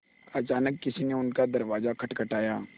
अचानक किसी ने उनका दरवाज़ा खटखटाया